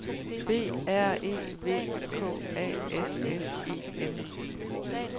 B R E V K A S S E N